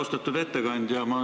Austatud ettekandja!